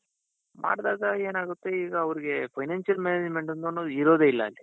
ಮಾಡ್ದಾಗ ಏನಾಗುತ್ತೆ ಈಗ ಅವರಿಗೆ financial management ಅನ್ನೋದ್ ಇರೋದಿಲ್ಲ ಅಲ್ಲಿ.